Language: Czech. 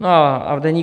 No a v Deníku